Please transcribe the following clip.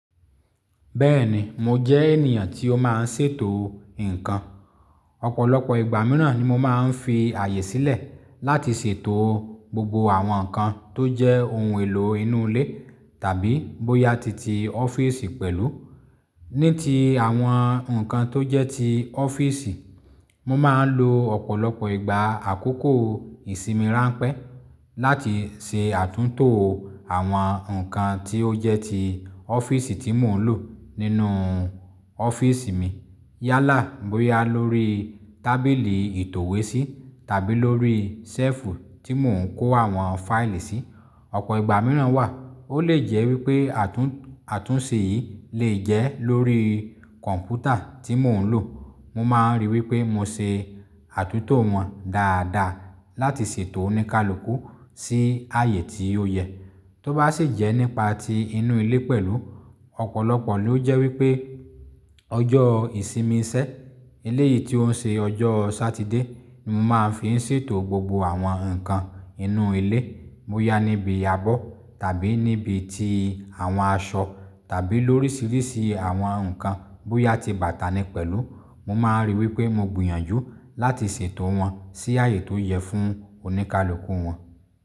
Bẹ́ẹ̀ni mo jẹ́ ènìyàn tí ó máa ń ṣètò ǹkan. Ọ̀pọ̀lọpọ̀ ìgbà mìíràn ni mo máa ń fi ààyè sílẹ̀ láti ṣètò gbogbo àwọn nǹkan tó jẹ́ ohun èlò inú ilé tàbí bóyá ti ti ọ́fíìsì pẹ̀lú. Ní ti àwọn nǹkan tó jẹ́ ti ọ́fíìsì, mo máa ń lo ọ̀pọ̀lọpọ̀ ìgbà àkókò ìsinmi ránpẹ́ láti ṣe àtúntò àwọn nǹkan tí ó jẹ́ ti ọ́fíìsì tí mò ń lò nínú ọ́fíìsì mi. Yálà bóyá lórí tábìlì ìtòwésí tàbí lórí ṣẹ́ẹ̀fù tí mò ń kó àwọn fáìlì sí. Ọ̀pọ̀ ìgbà mìíràn wà, ó lè jẹ́ wípé àtún-àtúnṣe yìí lè jẹ́ lórí kọ̀m̀pútà tí mò ń lò. Mo máa ń ríi wípé mo ṣe àtúntò wọn dáadáa láti ṣètò òníkalukú sí ààyè tí ó yẹ. Tó bá sì jẹ́ nípa ti inú ilé pẹ̀lú, ọ̀pọ̀lọpọ̀ ló jẹ́ wípé ọjọ́ ìsinmi sẹ́, eléyìí tí ó ń ṣe ọjọ́ Satide ni mo máa ń fi ṣètò gbogbo àwọn nǹkan inú ilé. Bóyá níbi ábọ̀ tàbí níbi ti àwọn aṣọ tàbí lóríṣiríṣi àwọn nǹkan, bóyá ti bàtà ni pẹ̀lú, mo máa ń ríi wípé mo gbìyànjú láti ṣètò wọn sí ààyè tó yẹ fún òníkalukú wọn.